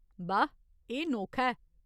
बाह्, एह् नोखा ऐ।